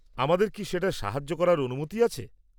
আমাদের কি সেটায় সাহায্য করার অনুমতি আছে?